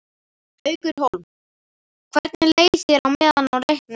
Haukur Hólm: Hvernig leið þér á meðan á leiknum stóð?